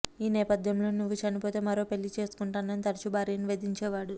ఈ నేపథ్యంలోనే నువ్వు చనిపోతే మరో పెళ్లి చేసుకుంటన్నాని తరచూ భార్యను వేధించేవాడు